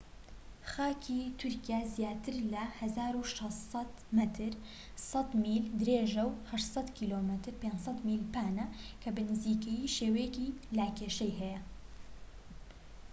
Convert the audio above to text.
خاکی تورکیا زیاتر لە 1,600 مەتر 1000 میل درێژە و 800 کم 500 میل پانە، کە بە نزیکەیی شێوەیەکی لاکێشەیی هەیە